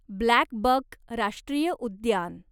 ब्लॅकबक राष्ट्रीय उद्यान